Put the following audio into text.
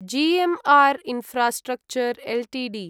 GMR infrastructure Ltd